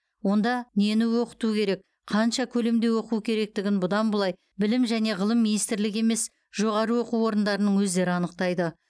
онда нені оқыту керек қанша көлемде оқу керектігін бұдан былай білім және ғылым министрлігі емес жоғары оқу орындарының өздері анықтайды